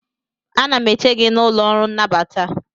Ana m eche gị n'ụlọ ọrụ nnabata